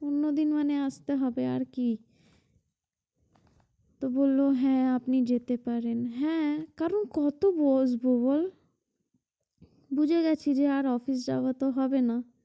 অন্যদিন মানে আসতে হবে আর কি তো বলল হ্যাঁ আপনি যেতে পারেন হ্যাঁ কারণ কত বসব বল বুঝে গেছি আর office যাওয়া তো হবে না